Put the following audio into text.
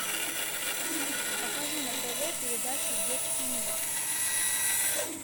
покажи на тв передачу детский мир